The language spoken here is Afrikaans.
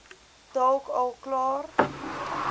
dalk al klaar